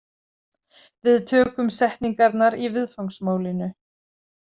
Við tökum setningarnar í viðfangsmálinu.